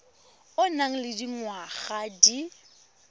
o nang le dingwaga di